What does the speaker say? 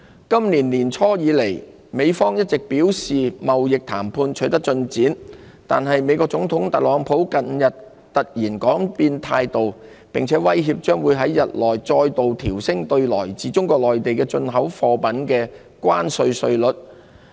今年年初以來，美方一直表示貿易談判取得進展，但美國總統特朗普近日突然改變態度，並威脅將於日內再度調升對來自中國內地的進口貨品的關稅稅率。